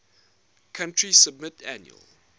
country submit annual